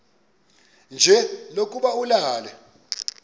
nje lokuba ulale